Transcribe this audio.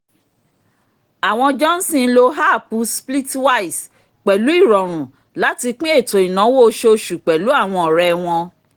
àwọn johnson lo háàpù splitwise pẹ̀lú ìrọ̀rùn láti pín ètò ìnáwó oṣooṣù pẹ̀lú àwọn ọ̀rẹ́ wọn